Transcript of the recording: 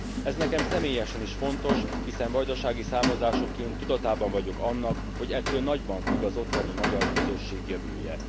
Ez nekem személyesen is fontos, hiszen vajdasági származásúként tudatában vagyok annak, hogy ettől nagyban függ az ottani magyar közösség jövője.